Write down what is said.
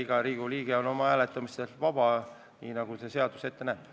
Iga Riigikogu liige on oma hääletamises vaba, nii nagu seadus ette näeb.